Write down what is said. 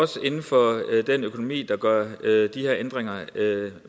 står inde for den økonomi der gør de her ændringer